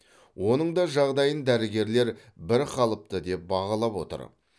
оның да жағдайын дәрігерлер бірқалыпты деп бағалап отыр